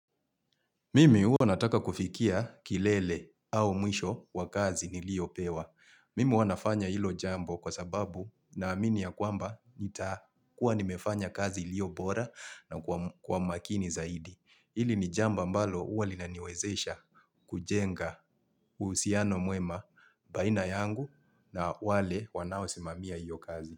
Mimi huwa nataka kufikia kilele au mwisho wa kazi ni lio pewa. Mimi wanafanya hilo jambo kwa sababu na amini ya kwamba nitakua nimefanya kazi ilio bora na kwa makini zaidi. Ili ni jamba mbalo uwa lina niwezesha kujenga usiano muema baina yangu na wale wanawasimamia hiyo kazi.